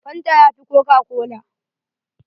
Fanta ya fi kokakola.